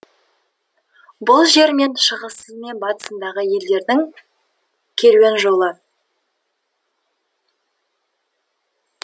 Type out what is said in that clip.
бұл жер және шығысы мен батысындағы елдердің керуен жолы